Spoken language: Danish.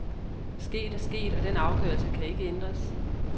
Sket er sket, og den afgørelse kan ikke ændres.